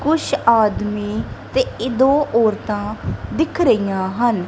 ਕੁਛ ਆਦਮੀ ਤੇ ਇਹ ਦੋ ਔਰਤਾਂ ਦਿਖ ਰਹੀਆਂ ਹਨ।